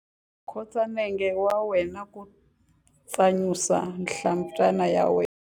Khotsa nenge wa wena ku tsanyusa nhlampfana ya wena.